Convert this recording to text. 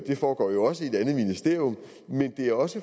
det foregår jo også i et andet ministerium men det er også